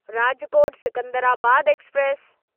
Rajkot Secunderabad express